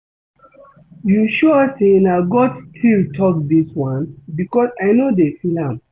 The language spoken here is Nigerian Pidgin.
You sure say na God still talk dis one because I no dey feel am